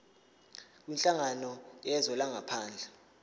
kwinhlangano yezwe langaphandle